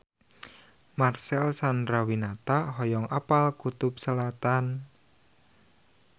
Marcel Chandrawinata hoyong apal Kutub Selatan